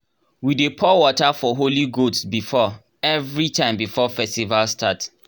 we dey pour water for holy goats before everytime before festival start